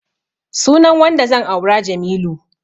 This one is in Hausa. Sunan wanda zan aura Jamilu.